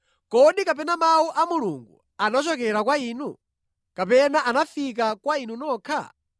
Kodi kapena mawu a Mulungu anachokera kwa inu? Kapena anafika kwa inu nokha?